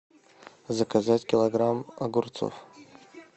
заказать килограмм огурцов